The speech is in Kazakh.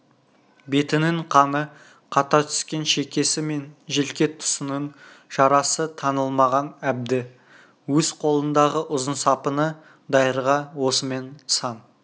бетінің қаны қата түскен шекесі мен желке тұсының жарасы таңылмаған әбді өз қолындағы ұзын сапыны дайырға осымен сан